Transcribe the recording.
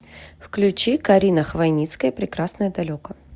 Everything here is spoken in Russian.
включи карина хвойницкая прекрасное далеко